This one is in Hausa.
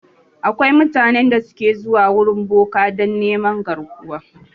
Akwai mutanen da su ke zuwa wurin boka dan neman garkuwa